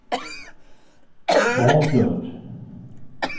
foreslået